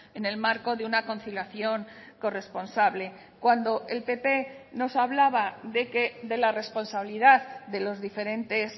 en el marco de una conciliación corresponsable cuando el pp nos hablaba de la responsabilidad de los diferentes